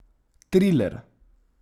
Triler.